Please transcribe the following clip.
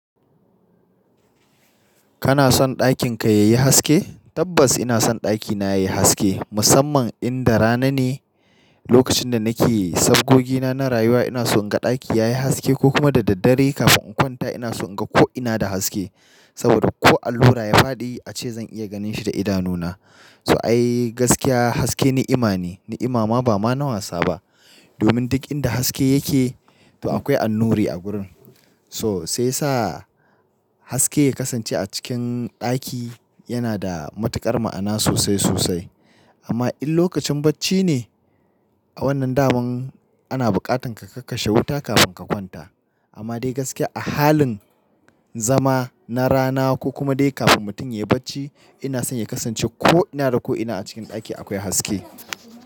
Kana son ɗakin ka yayi haske? Tabbas ina son ɗakina yayi haske, musamman inda rana ne lokacin da nake yi, saboda sabgogina na rayuwa ina so in ga ɗaki yayi haske ko kuma da daddare kafin in kwanta ina so in ga ko ina da haske. Saboda ko allura ya faɗi ace zan iya ganin shi da idanuna. So ai gaskiya haske ni'ima ne, ni'ima ma ba ma na wasa ba. Domin duk inda haske yake, to akwai annuri a gurin. So sai sa haske ya kasance a cikin ɗaki yana da matuƙar ma'ana sosai sosai. Amma in lokacin bacci ne, a wannan daman ana buƙatar ka kashe wuta kafin ka kwanta. Amma dai gaskiya a halin zama na rana ko kuma dai kafin mutum ya yi bacci, ina son ya kasance ko ina da ko ina a cikin ɗaki akwai haske.